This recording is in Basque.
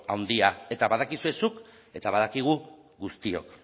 handia eta badakizu zuk eta badakigu guztiok